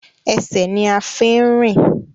Ẹsẹ̀ ní a fi ń rìn.